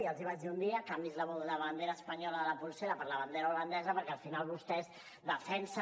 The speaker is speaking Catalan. ja els hi vaig dir un dia canviï’s la bandera espanyola de la polsera per la bandera holandesa perquè al final vostès defensen